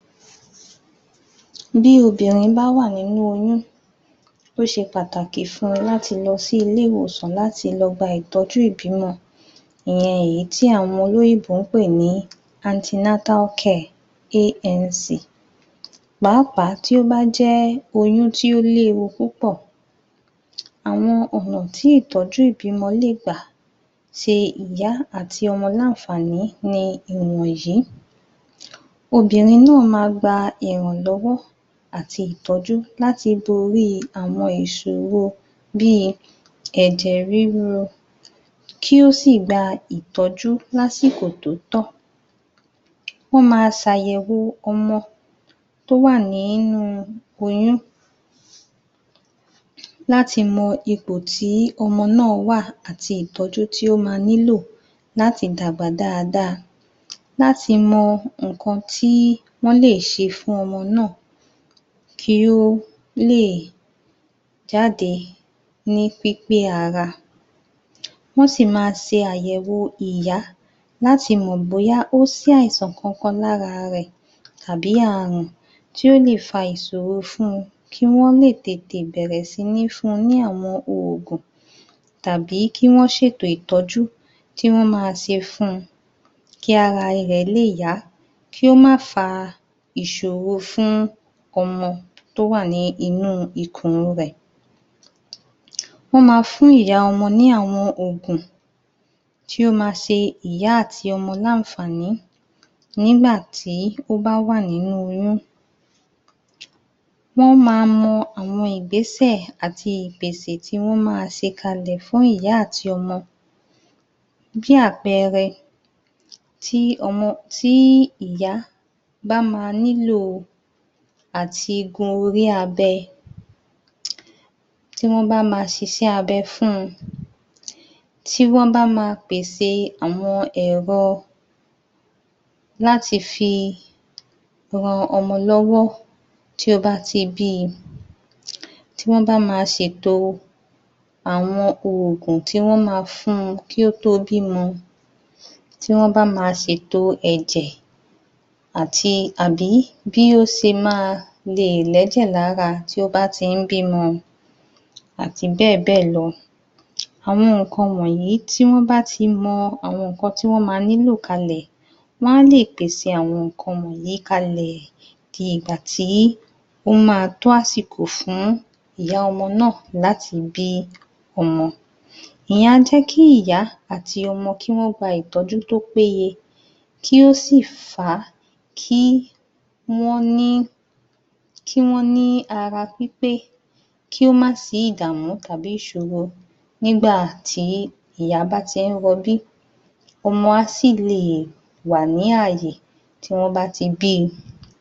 Bí obìnrin bá wà nínú oyún ó ṣe pàtàkì fun láti lọ sí ilé ìwòsàn láti lọ gba ìtọ́jú ìbímọ ìyẹn èyí tí àwọn olóyìnbó ń pè ní antenatal care ANC. Pàápàá tí ó bá jẹ́ oyún tí ó léwu púpọ̀ àwọn ọ̀nà tí ìtọ́jú ìbímọ lè gbà ṣe ìyá àti ọmọ ní àǹfàní ni ìwọ̀nyí. Obìnrin náà máa gba ìrànlọ́wọ́ àti ìtọ́jú láti borí àwọn ìṣòrro bí i ẹ̀jẹ̀ ríru, kí ó sì gba ìtọ́jú lásìkò tó tọ́, wọ́n máa ṣàyẹ̀wo ọmọ tó wà nínú oyún láti mọ ìpò tí ọmọ náà wà àti ìtọ́jú tó máa nílò láti dàgbà dáadáa, láti mọ nǹkan tí wọ́n lè ṣe fún ọmọ náà kí ó lè jáde ní pípé ara. Wọ́n sì máa ṣe àyẹ̀wo ìyá láti mọ̀ bóyá ó ṣàìsàn kankan lára rẹ̀ àbí ààrùn tí ó lè fa ìṣòro fún kí wọ́n lè tètè bẹ̀rẹ̀ sí ní fun ní àwọn ògùn tàbí kí wọ́n ṣètò ìtọ́jú tí wọ́n máa ṣe fun kí ara rẹ̀ lè yá, kí ó má fa ìṣòro fún ọmọ tó wà ní inú ikùn rẹ̀. Wọ́n máa fún àwọn ìyá ọmọ ní àwọn ògùn tí ó máa ṣe ìyá àti ọmọ ní àǹfàní nígbà tí ó bá wà nínú oyún. Wọ́n máa mọ àwọn ìgbésẹ̀ àti ìpèsè tí wọ́n máa ṣe kalẹ̀ fún ìyá àti ọmọ jẹ́ àpẹẹrẹ tí ọmọ tí ìyá bá máa nílò àtii gun orí abẹ tí wọ́n bá máa ṣiṣẹ́ abẹ fún, tí wọ́n bá máa pèsè àwọn ẹ̀rọ láti fi ran ọmọ lọ́wọ́ tí ó bá ti bí i, tí wọ́n bá máa ṣèto àwọn ògùn tí wọn máa fun kí ó tó bímọ, tí wọ́n bá máa ṣètò ẹ̀jẹ̀ àti àbí bí ó ṣe máa le è lẹ́jẹ̀ lára tí ó bá ti ń bímọ àti bẹ́ẹ̀ bẹ́ẹ̀ lọ. Àwọn nǹkan wọ̀nyí, tí wọ́n bá tí mọ àwọn nǹkan tí wọ́n máa nílò kalẹ̀ wọ́n á lè pèsè àwọn nǹkan wọ̀nyí kalẹ̀ di ìgbà tí ó máa tó àsìkò fún ìyá ọmọ náà láti bí ọmọ. Ìyẹn á jẹ́ kí ìyá àtí ọmọ kí wọ́n gba ìtọ́jú tó péye kí ó sì fà á kí wọ́n ní kí wọ́n ní ara pípé, kí ó má sí ìdàmú tàbí ìṣòro nígbà tí ìyá bá ti ń rọbí. ọmọ á sì lè wà ní ààyè tí wọ́n bá ti bí i.